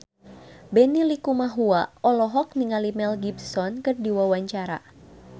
Benny Likumahua olohok ningali Mel Gibson keur diwawancara